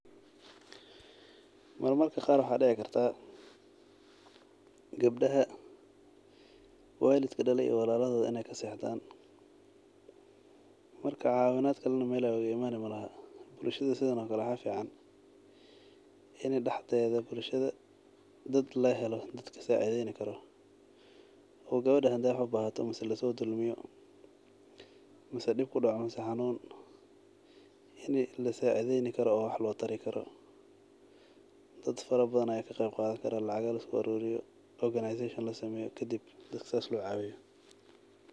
Marmarka qar waxaa dici kartah, gebdaha walidka dale iyo walaladodha in ay kasexdhan, marka cawinad kale na mel ay oga imani malaha, bulshada sidan oo kale waxaa fican in daxdehda bulshada dad lahelo sacideyn karo oo gebada hadey wax ubahato amaa lasodulmiyo wax lotari karo wax lasin karo , dad fara bafhan aa kaqeb qadan karaah oo lacaga liskuaruriyo organisation lasameyo kadib sas lacag luguaruriyo.